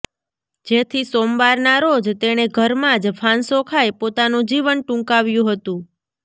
જેથી સોમવારના રોજ તેણે ઘરમાં જ ફાંસો ખાઈ પોતાનું જીવન ટૂંકાવ્યું હતું